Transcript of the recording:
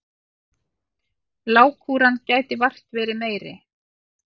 Lágkúran gæti vart verið meiri.